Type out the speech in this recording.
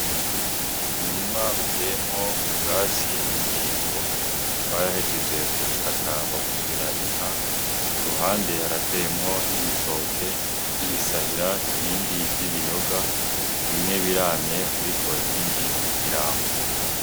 Umurima uteyemwo ubwatsi bw'indingo bahejeje kubukata babushira inka, ku ruhande harateyemwo n'ibitoke vy'ibisahira ibindi vy'ibiyoga, bimwe biramye ariko ibindi ntibirama.